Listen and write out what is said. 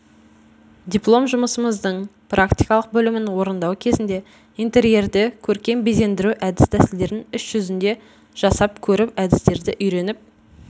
диплом жұмысымыздың практикалық бөлімін орындау кезінде интерьерді көркем безендіру әдіс тәсілдерін іс жүзінде жасап көріп әдістерді үйреніп